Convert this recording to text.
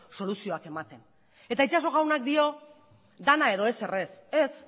soluzioak ematen eta itxaso jaunak dio dena edo ezer ez ez